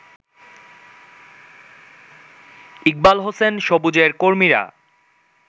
ইকবালহোসেন সবুজের কর্মীরা